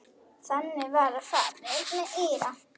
Þannig var farið með Íra.